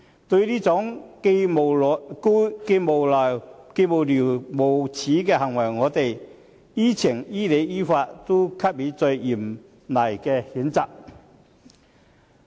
對於這種既無聊又無耻的行為，我們於情、於理、於法都必須加以最嚴厲的譴責。